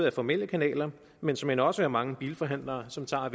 af formelle kanaler men såmænd også af mange bilforhandlere som tager